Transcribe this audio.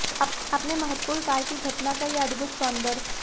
अपने महत्वपूर्ण कार्य की घटना का यह अद्भुत सौंदर्य